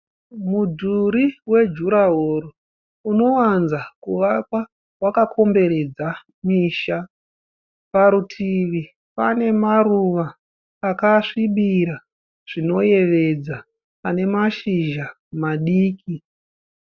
Mudhuri wejurahoro unowanza kuvakwa wakakomberedza misha. Parutivi pane maruva akasvibira zvinoyevedza ane mashizha madiki.